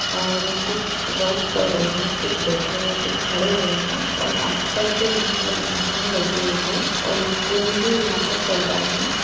और कुछ वर्क कर रहे है कुछ बैठे हुए है कुछ खड़े हुए है और आस-पास भी यहां पे लाइटे भी लगी हुई है और स्कीन भी यहां पे चल रहा है।